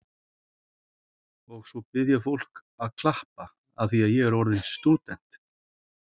Og svo bið ég fólk að klappa afþvíað ég sé orðin stúdent.